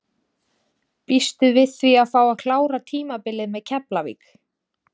Býstu við því að fá að klára tímabilið með Keflavík?